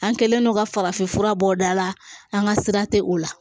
An kɛlen don ka farafinfura bɔ o da la an ka sira tɛ o la